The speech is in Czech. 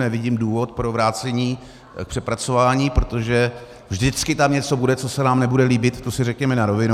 Nevidím důvod pro vrácení k přepracování, protože vždycky tam něco bude, co se nám nebude líbit, to si řekněme na rovinu.